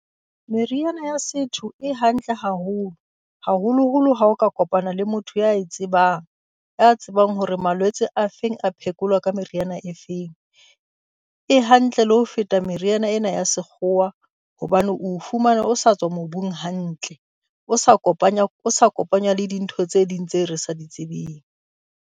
Meriana ya setho e hantle haholo, haholoholo ha o ka kopana le motho ya e tsebang. Ya tsebang hore malwetse a feng a phekolwa ka meriana e feng. E hantle le ho feta meriana ena ya sekgowa, hobane o o fumana o sa tswa mobung hantle. O sa o kopanya o sa kopanywa le dintho tse ding tse re sa di tsebeng.